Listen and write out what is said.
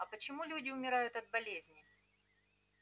а почему люди умирают от болезней